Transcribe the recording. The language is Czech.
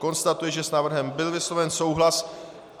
Konstatuji, že s návrhem byl vysloven souhlas.